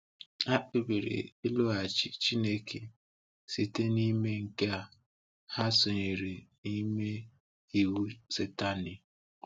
Ha kpebiri ịlụghachi Chineke. Site n’ime nke a, ha sonyere n’ime iwe Satani.